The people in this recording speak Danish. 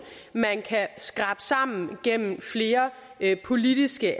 man kan skrabe sammen gennem flere politiske